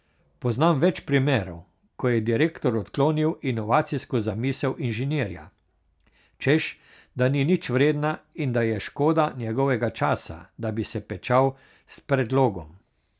Poznam več primerov, ko je direktor odklonil inovacijsko zamisel inženirja, češ da ni nič vredna in da je škoda njegovega časa, da bi se pečal s predlogom.